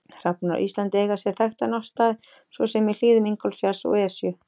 Hrafnar á Íslandi eiga sér þekkta náttstaði svo sem í hlíðum Ingólfsfjalls og Esju.